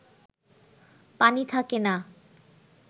পানি থাকেনা